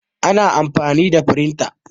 ana amfani da firinta